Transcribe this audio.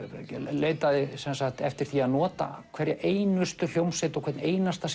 leitaði eftir að nota hverja einustu hljómsveit og hvern einasta